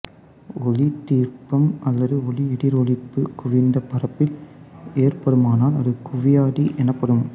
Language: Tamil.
ஒளித்திருப்பம் அல்லது ஒளி எதிரொளிப்பு குவிந்த பரப்பில் ஏற்படுமானால் அது குவியாடி எனப்படும்